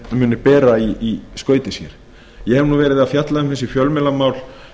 muni bera í skauti sér ég hef verið að fjalla um fjölmiðlamál